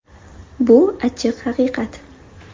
Bu – achchiq haqiqat.